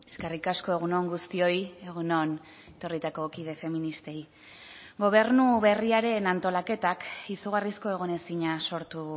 eskerrik asko egun on guztioi egun on etorritako kide feministei gobernu berriaren antolaketak izugarrizko egonezina sortu